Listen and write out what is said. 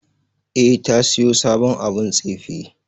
E, ta siyo sabon abun tsife.